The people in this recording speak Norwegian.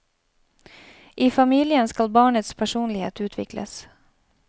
I familien skal barnets personlighet utvikles.